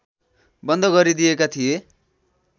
बन्द गरिदिएका थिए